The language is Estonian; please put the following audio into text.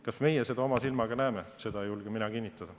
Kas meie seda oma silmaga näeme, seda ei julge mina kinnitada.